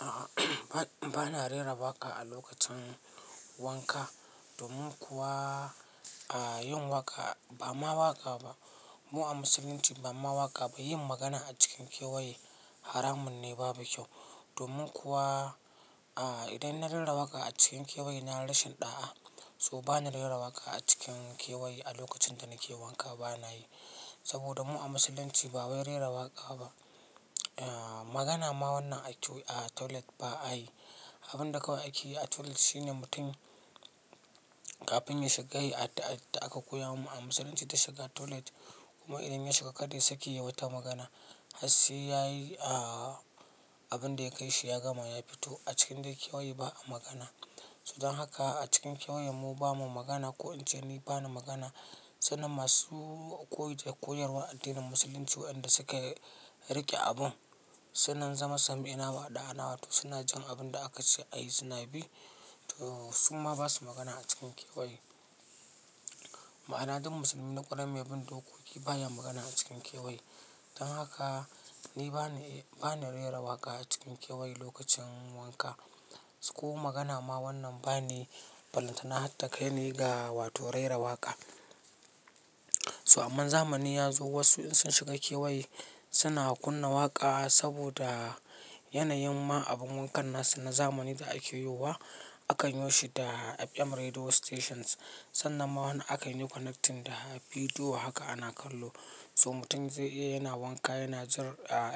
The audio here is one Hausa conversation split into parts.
A'a, bana rera waƙa a lokacin wanka. Domin kuwa, a yin waƙa, ba ma waƙa ba, domin kuwa, a yin waƙa, ba ma waƙa ba. Domin kuwa, idan na rera waƙa a cikin kewaye nayi rashin ɗa'a So bana rera waƙa a cikin kewaye a lokacin da nake wanka bana yi. Saboda mu a musulunci ba wai rera waƙa ba. Magana ma wannan a toilet ba'ayi, abin da kawai ake yi a toilet shine mutum kafin ya shiga ya yi addu'ar da aka koya mamu a musulunci ta shiga toilet, kuma idan ya shiga kada ya sake yayi wata magana. Har sai ya yi abin da ya kai shi ya gama ya fito, a cikin dai kewaye ba a magana. So dan haka a cikin kewaye mu ba mu magana ko in ce ni ba na magana. Sannan masu koyarwan addinin musulunci waɗanda suka riƙe abun, sunnan zama sami'na wa aɗa'ana wato suna jin abin da aka ce a yi suna bi, to suma ba su magana a cikin kewaye. Ma'ana dun musulmi na ƙwarai mai bin dokoki baya magana a cikin kewaye. Dan haka ni bani, bani rera waƙa a cikin kewaye lokacin wanka, ko magana ma wannan baniyi ballantana har takai ni ga wato rera waƙa. So amman zamani ya zo wasu in sun shiga kewaye, suna kunna waƙa saboda yanayin ma abun wankan nasu na zamani da ake yowa, akan yo shi da FM radio stations, sannan ma wani akan yi connecting da bidiyo haka ana kallo. So mutum zai iya yana wanka yana jin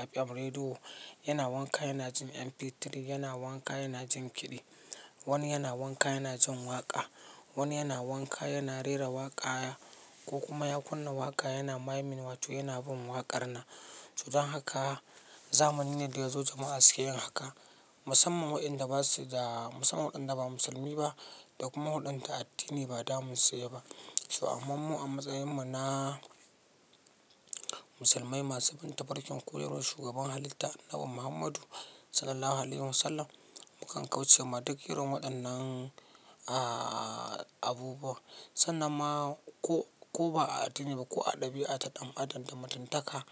FM radio, yana wanka yana jin MP3, yana wanka yana jin kiɗi. Wani yana wanka yana jin waƙa. Wani yana wanka yana rera waƙa ko kuma ya kunna waƙa yana maimin wato yana bin waƙar nan. To dan haka, zamani ne da ya zo jama'a suke yin haka. Musamman wa'inda ba su da, musamman waɗanda ba musulmi ba, da kuma waɗanda addini ba damun su ya yi ba. So amman mu a matsayin mu na musulmai masu bin ta farkin koyarwar shugaban halitta Annabi Muhammadu Sallallahu Alaihi Wasallam, mukan kauce ma duk irin waɗannan abubuwa. Sannan ma ko, ko ba a addini ba ko a ɗabi'a ta ɗan' Adam da mutuntaka,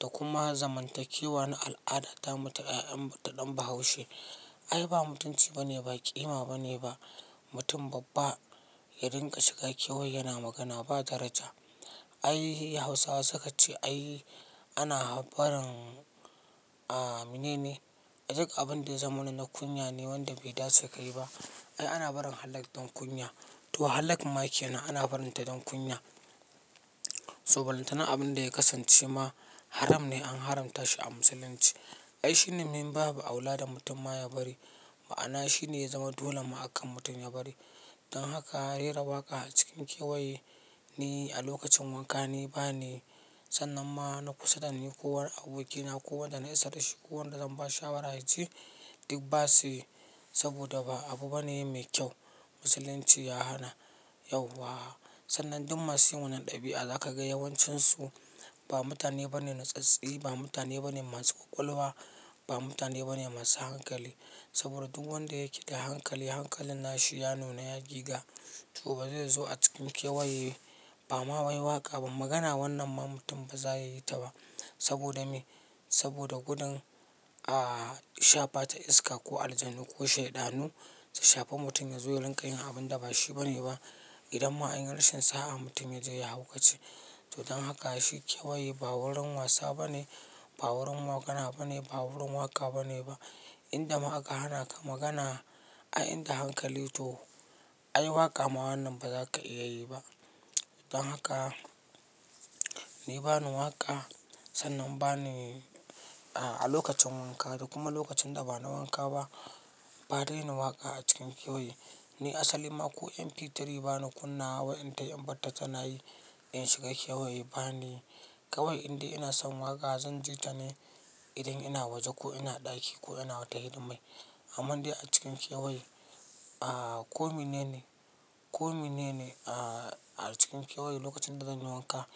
da kuma zamantakewa na al'ada ta mu ta ƴaƴan- ta ɗan Bahaushe, ai ba mutunci ba ne, ba ƙima ba ne ba, mutum babba ya dinga shiga kewaye yana magana ba daraja. Ai hausawa suka ce ai ana barin menene? Duk abun da ya zamana na kunya ne wanda bai dace ka yi ba. Ai ana barin halak don kunya. To halak ma ke nan ana barin ta dan kunya. So falantana abin da ya kasance ma haram ne an haramta shi a musulunci. Ai shine min babu aula da mutum ma ya bari. Ma'ana shi ne ya zama dole maka mutum ya bari. Dan haka rera waƙa a cikin kewaye ni a lokacin wanka ni bani. Sannan ma na kusa da ni ko wani abokina ko wanda na isa da shi ko wanda zan bashi shawara yace duk ba su yi. Saboda ba abu bane mai kyau. Musulunci ya hana yauwa. Sannan duk masu yin wannan ɗabi'a za ka ga yawancinsu ba mutane ba ne na tsatsse, ba mutane ba ne masu ƙwaƙwalwa, ba mutane ba ne masu hankali, saboda duk wanda yake da hankali, hankalin nashi ya nuna ya giga. To ba zai zo a cikin kewaye, ba ma wai waƙa ba magana wannan ma mutum ba za ya yi ta ba. Saboda me? Saboda gudun shafa ta iska ko aljanu ko shaiɗanu, su shafi mutum ya zo ya rinƙa yin abun da ba shi bane ba. Idan ma an yi rashin sa'a mutum yaje ya haukace. To dan haka shi kewaye ba wurin wasa bane, ba wurin magana bane, ba wurin waƙa bane ba. Inda ma aka hana ka magana, ai inda hankali to ai waƙa ma wannan ba za ka iya yi ba. Dan haka ni bani waƙa, sannan bani a lokacin wanka da kuma lokacin da ba na wanka ba, ba dai ni waƙa a cikin kewaye. Ni asali ma ko MP3 ba ni kunnawa wai intai in batta tana yi in shiga kewaye bani yi. Kawai indai ina son waƙa zan ji ta ne idan ina waje ko ina ɗaki ko ina wata hidimai. Amman dai a cikin kewaye, a ko mene ne, ko mene ne a cikin kewaye lokacin da zan yi wanka,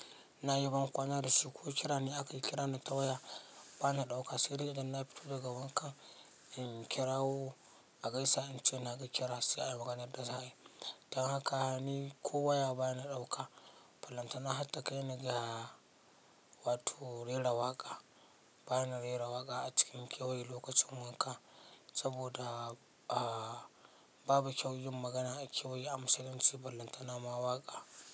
na yi ban kwana da shi, ko kira ne aka yi kira ni ta waya bani ɗauka, sai dai idan na fito daga wankan in kirawo a gaisa in ce naga kira, sai a yi maganar da za'a yi. Dan haka ni ko waya ba na ɗauka. Balantana har takaini ga wato rera waƙa. Bana rera waƙa a cikin kewaye lokacin wanka, saboda babu kyau yin magana a kewaye a musulunci balantana ma waƙa.